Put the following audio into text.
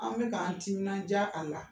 An bɛ k'an timinandiya a la